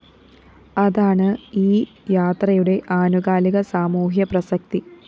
അതാണ് ഈ യാത്രയുടെ ആനുകാലിക സാമൂഹ്യ പ്രസക്തി